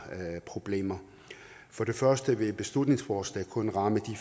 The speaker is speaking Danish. problemer for det første vil beslutningsforslaget kun ramme de